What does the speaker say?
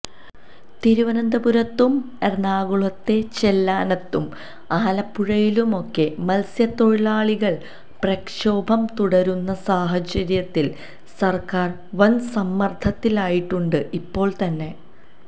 തിരുവനന്തപുരത്തും എറണാകുളത്തെ ചെല്ലാനത്തും ആലപ്പുഴയിലുമൊക്കെ മത്സ്യത്തൊഴിലാളികൾ പ്രക്ഷോഭം തുടരുന്ന സാഹചര്യത്തിൽ സർക്കാർ വൻസമ്മർദത്തിലായിട്ടുണ്ട് ഇപ്പോൾ തന്നെ